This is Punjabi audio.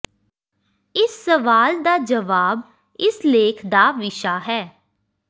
ਇਸ ਸਵਾਲ ਦਾ ਜਵਾਬ ਇਸ ਲੇਖ ਦਾ ਵਿਸ਼ਾ ਹੈ